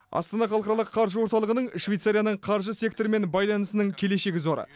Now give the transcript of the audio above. астана халықаралық қаржы орталығының швейцарияның қаржы секторымен байланысының келешегі зор